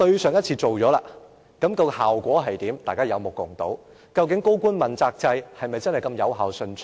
上次提出過，效果如何，大家有目共睹，究竟高官問責制是否那麼有效順暢？